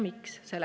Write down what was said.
Miks?